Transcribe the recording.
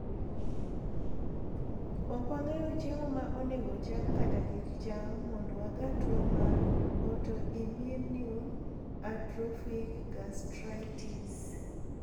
Okwang`eyo chiemo maonego cham kata kik cham mondo waga two mar autoimmune atrophic gastritis.